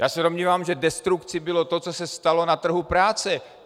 Já se domnívám, že destrukcí bylo to, co se stalo na trhu práce.